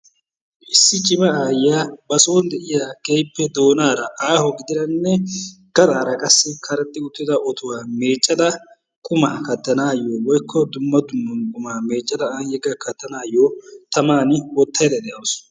Issi cimma aayiyaa ba sooni de'iya doonaara aaho gaxxaara qassi karexxi uttida ottuwa meeccada qumaa katanaayo woykko dumma dumma qumaa meeccada an katanaayo tamaani wottayda de'awusu.